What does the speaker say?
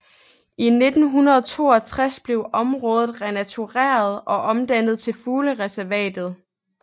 I 1962 blev området renatureret og omdannet til fuglereservatet